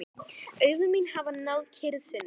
Augu mín hafa náð kyrrð sinni.